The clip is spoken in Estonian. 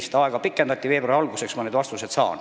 Seda aega pikendati veidi, ma saan need veebruari alguseks.